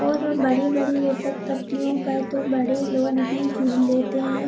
और उन बड़ी-बड़ी लिसक पट्टियों पर तो बड़े लोग भी झूल लेते हैं।